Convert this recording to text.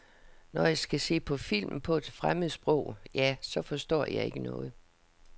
Når jeg skal se på film på et fremmed sprog, ja, så forstår jeg ikke noget.